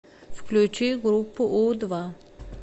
включи группу у два